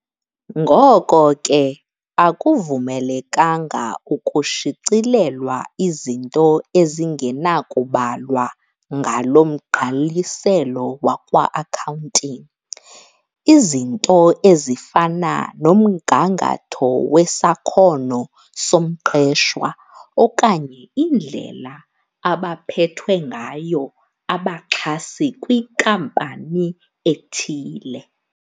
Ngoko ke, akuvumelekanga ukushicilelwa izinto ezingenakubalwa ngalo mgqaliselo wakwa-Accounting, izinto ezifana nomgangatho wesakhono somqeshwa okanye indlela abaphethwe ngayo abaxhasi kwinkampani ethile.